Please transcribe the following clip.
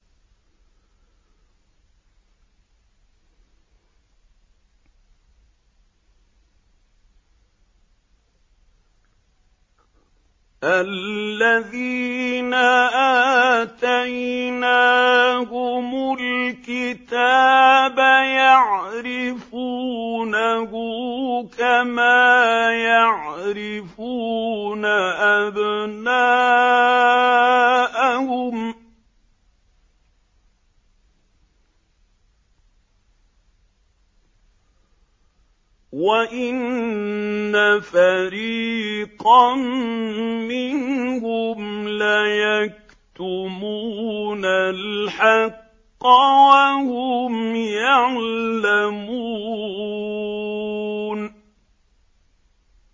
الَّذِينَ آتَيْنَاهُمُ الْكِتَابَ يَعْرِفُونَهُ كَمَا يَعْرِفُونَ أَبْنَاءَهُمْ ۖ وَإِنَّ فَرِيقًا مِّنْهُمْ لَيَكْتُمُونَ الْحَقَّ وَهُمْ يَعْلَمُونَ